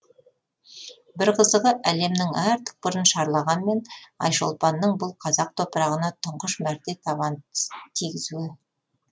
бір қызығы әлемнің әр түкпірін шарлағанмен айшолпанның бұл қазақ топырағына тұңғыш мәрте табан тигізуі